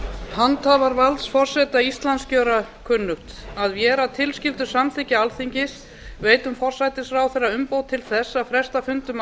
handhafar valds forseta íslands gera kunnugt að vér að tilskildu samþykki alþingis veitum forsætisráðherra umboð til þess að fresta fundum